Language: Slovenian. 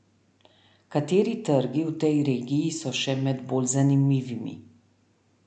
Kateri trgi v tej regiji so še med bolj zanimivimi?